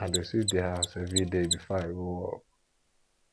i dey sweep the house everyday before i go work